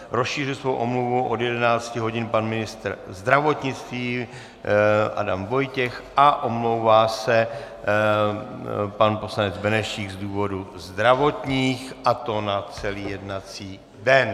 Rozšířil svoji omluvu od 11 hodin pan ministr zdravotnictví Adam Vojtěch a omlouvá se pan poslanec Benešík z důvodů zdravotních, a to na celý jednací den.